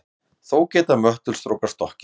Þó geta möttulstrókar stokkið.